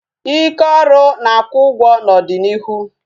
Ike oru na-akwụ ụgwọ n'ọdịnịihu